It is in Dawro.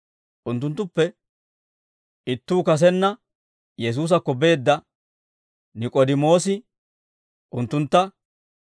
Unttunttuppe ittuu kasenna Yesuusakko beedda Nik'oodimoosi unttuntta,